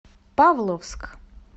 павловск